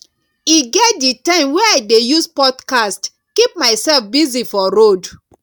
e get di time wey i dey use podcast keep mysef busy for road